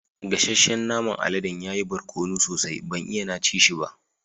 Gassacen naman aladen ya yi barkonu sosai, ban iya na ci shi ba.